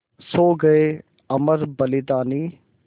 सो गये अमर बलिदानी